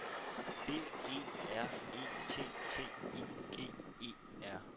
B E R E T T I G E R